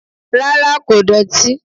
Rárá kò dọ̀tí